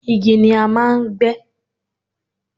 igi ni a máà ń gbé